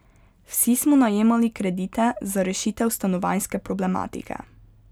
Vsi smo najemali kredite za rešitev stanovanjske problematike.